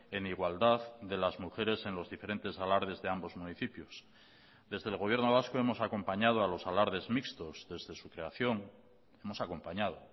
en igualdad de las mujeres en los diferentes alardes de ambos municipios desde el gobierno vasco hemos acompañado a los alardes mixtos desde su creación hemos acompañado